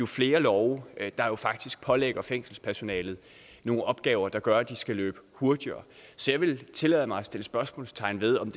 flere love der faktisk pålægger fængselspersonalet nogle opgaver der gør at de skal løbe hurtigere så jeg vil tillade mig at sætte spørgsmålstegn ved om